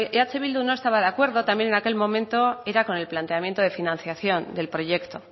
eh bildu no estaba de acuerdo también en aquel momento era con el planteamiento de financiación del proyecto